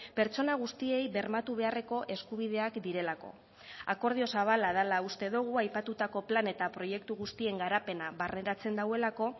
pertsona guztiei bermatu beharreko eskubideak direlako akordio zabala dela uste dugu aipatutako plan eta proiektu guztien garapena barneratzen duelako